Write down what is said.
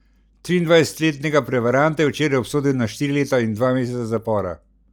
Triindvajsetletnega prevaranta je včeraj obsodil na štiri leta in dva meseca zapora.